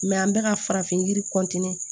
an bɛ ka farafin yiri